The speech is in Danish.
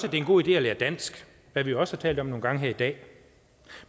er en god idé at lære dansk hvad vi jo også har talt om nogle gange her i dag